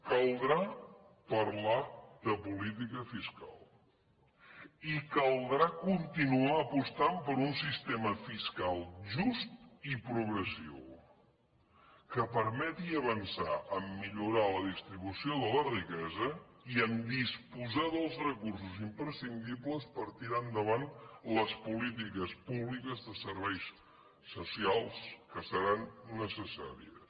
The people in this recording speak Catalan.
caldrà parlar de política fiscal i caldrà continuar apostant per un sistema fiscal just i progressiu que permeti avançar a millorar la distribució de la riquesa i a disposar dels recursos imprescindibles per tirar endavant les polítiques públiques de serveis socials que seran necessàries